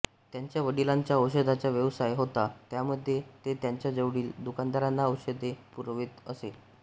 त्यांचा वडिलांचा औषधांचा व्यवसाय होता त्यामध्ये ते त्यांचा जवळील दुकानदारांना औषधे पुरवित असे